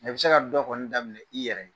I bɛ se ka dɔ kɔni daminƐ i yɛrɛ ye